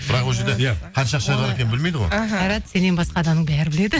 бірақ ол жерде иә қанша ақша бар екенін білмейді ғой іхі қайрат сеннен басқа адамның бәрі біледі